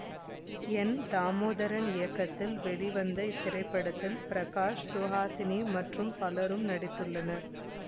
என் தாமோதரன் இயக்கத்தில் வெளிவந்த இத்திரைப்படத்தில் பிரகாஷ் சுஹாசினி மற்றும் பலரும் நடித்துள்ளனர்